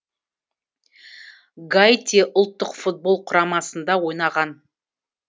гаити ұлттық футбол құрамасында ойнаған